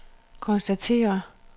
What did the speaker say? konstaterer